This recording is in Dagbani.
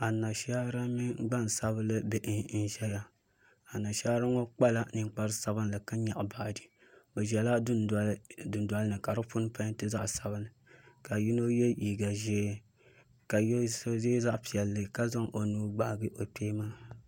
Anashaara mini gbansabinli bihi n ʒɛya Anashaara ŋɔ kpala ninkpari sabinli ka nyaɣa baaji bi ʒɛla yili dundoli ni ka di puni peenti zaɣ sabinli ka yino yɛ liiga ʒiɛ ka yino yɛ zaɣ piɛlli ka zaŋ o nuu gbaagi o kpee maa